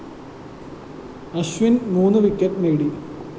അശ്വിന്‍ മൂന്ന് വിക്കറ്റ്‌ നേടി